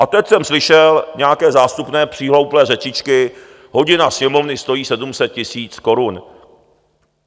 A teď jsem slyšel nějaké zástupné přihlouplé řečičky, hodina Sněmovny stojí 700 000 korun.